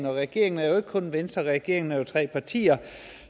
regeringen er jo ikke kun venstre regeringen er tre partier